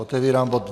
Otevírám bod